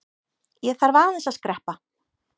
Ég þarf aðeins að skreppa.